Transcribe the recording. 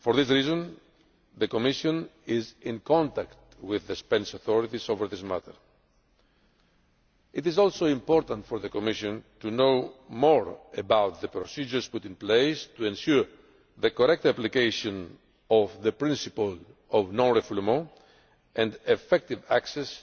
For this reason the Commission is in contact with the Spanish authorities over this matter. It is also important for the Commission to know more about the procedures put in place to ensure the correct application of the principle of non refoulement and effective access